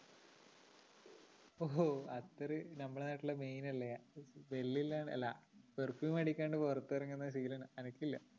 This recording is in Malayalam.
ഓ അത്തറ് നമ്മടെ നാട്ടില് main അല്ലേ വെല്ലില്ല അല്ല perfume അടിക്കാണ്ട് പൊറത്തെറങ്ങുന്ന ശീലം എനക്കില്ല